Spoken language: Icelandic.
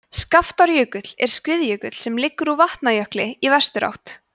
skaftárjökull er skriðjökull sem liggur úr vatnajökli í vesturátt